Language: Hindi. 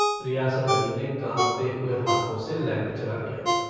रियासत अली ने काँपते हुए हाथों से लैम्प जला दिया।